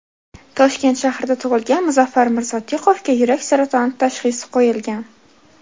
Toshkent shahrida tug‘ilgan Muzaffar Mirsodiqovga suyak saratoni tashxisi qo‘yilgan.